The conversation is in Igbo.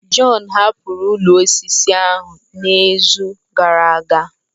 John hapụrụ ụlọ osisi ahụ n'izu gara aga.